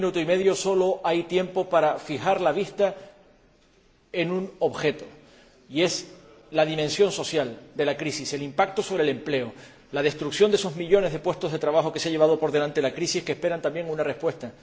Y en un minuto y medio sólo hay tiempo para fijar la vista en un objeto, y es la dimensión social de la crisis, el impacto sobre el empleo, la destrucción de esos millones de puestos de trabajo que se ha llevado por delante la crisis, que esperan también una respuesta.